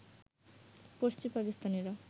পশ্চিম পাকিস্তানিরা